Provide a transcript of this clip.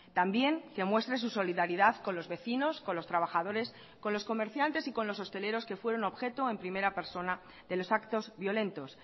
también que muestre su solidaridad con los vecinos con los trabajadores con los comerciantes y con los hosteleros que fueron objeto en primera persona de los actos violentos